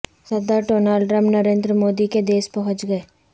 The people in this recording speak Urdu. صدر ڈونلڈ ٹرمپ نریندر مودی کے دیس پہنچ گئے